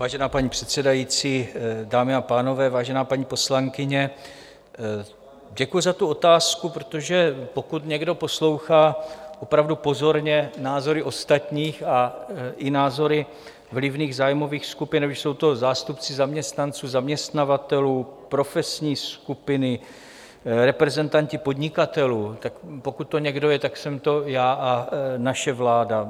Vážená paní předsedající, dámy a pánové, vážená paní poslankyně, děkuji za tu otázku, protože pokud někdo poslouchá opravdu pozorně názory ostatních i názory vlivných zájmových skupin, ať už jsou to zástupci zaměstnanců, zaměstnavatelů, profesní skupiny, reprezentanti podnikatelů, tak pokud to někdo je, tak jsem to já a naše vláda.